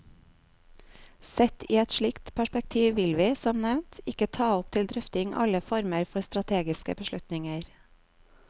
Sett i et slikt perspektiv vil vi, som nevnt, ikke ta opp til drøfting alle former for strategiske beslutninger.